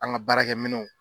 An ka baarakɛ minɛnw.